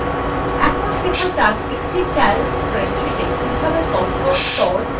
এখন শেখা যাক একটি calc স্প্রেডশীটে কিভাবে তথ্য sort বা সাজানো যায়